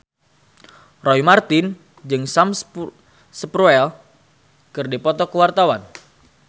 Roy Marten jeung Sam Spruell keur dipoto ku wartawan